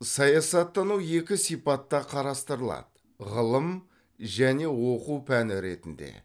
саясаттану екі сипатта қарастырылады ғылым және оқу пәні ретінде